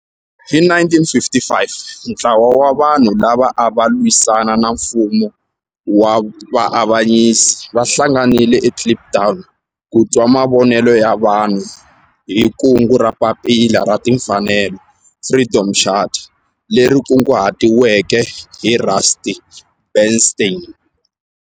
Hi 1955 ntlawa wa vanhu lava ava lwisana na nfumo wa avanyiso va hlanganile eKliptown ku twa mavonelo ya vanhu hi kungu ra Papila ra Timfanelo, Freedom Charter, leri kunguhatiweke hi Rusty Bernstein.